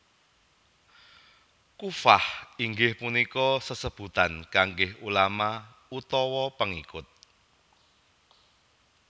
Kuffah inggih punika sesebutan kangge ulama utawa pengikut